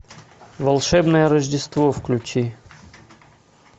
волшебное рождество включи